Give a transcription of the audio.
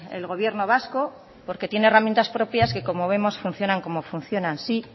el gobierno vasco porque tiene herramientas propias que como vemos funcionan como funcionan sí